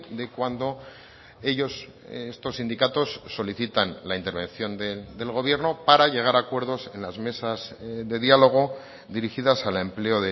de cuando ellos estos sindicatos solicitan la intervención del gobierno para llegar a acuerdos en las mesas de diálogo dirigidas al empleo